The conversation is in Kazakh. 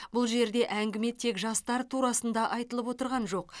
бұл жерде әңгіме тек жастар турасында айтылып отырған жоқ